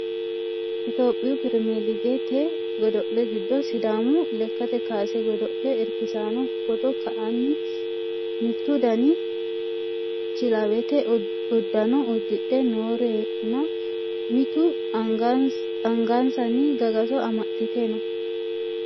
itiyophiyu pirimeeligete godo'le giddo sidaamu lekkate kaase godo'le irkisaano footo ka'anni mittu daninni kilawete uddano uddidhe noorenna mitu angansanni gagaso amaxxite no